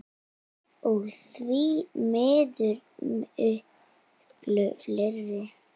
Og því miður miklu fleiri.